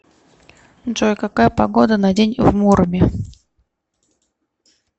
джой какая погода на день в муроме